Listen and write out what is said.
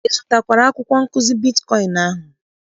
Ị zụtara akwụkwọ nkụzi bitkọịn ahụ?